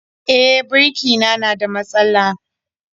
E, birki na na da matsala